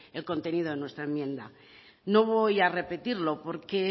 el contenido de nuestra enmienda no voy a repetirlo porque